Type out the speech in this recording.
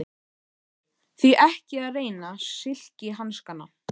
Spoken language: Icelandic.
ÞORVALDUR: Því ekki að reyna silkihanskana.